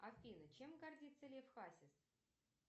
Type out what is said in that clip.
афина чем гордится лев хасис